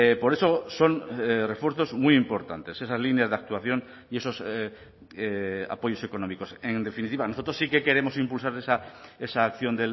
por eso son refuerzos muy importantes esas líneas de actuación y esos apoyos económicos en definitiva nosotros sí que queremos impulsar esa acción